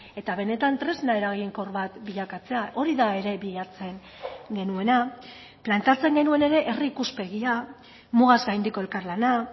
eta benetan tresna eraginkor bat bilakatzea hori da ere bilatzen genuena planteatzen genuen ere herri ikuspegia mugaz gaindiko elkarlana